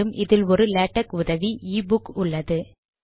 மேலும் இதில் ஒரு லேடக் உதவி e புக் உள்ளது